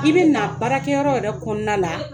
I bɛ na baarakɛyɔrɔ yɛrɛ kɔnɔna la